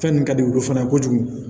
Fɛn nin ka di olu fana ye kojugu